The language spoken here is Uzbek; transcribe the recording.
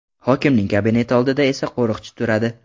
Hokimning kabineti oldida esa qo‘riqchi turadi.